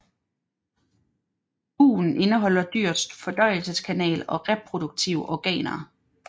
Bugen indeholder dyrets fordøjelseskanal og reproduktive organer